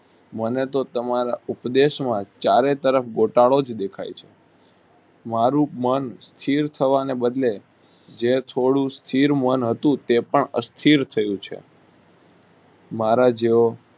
મને તો તમારા ઉપદેશ માં ચારે તરફ ગોટાળો જ દેખાય છે મારુ મન ચીલ થવાના બદલે જે છોડુંસ્થિર મન હતું તે પણ અસ્થિર થયું છે મારા જેવો